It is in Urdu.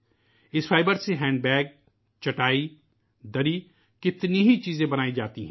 اس فائبر سے تھیلے ، چٹائی ، دری ، کتنی ہی چیزیں بنائی جاتی ہیں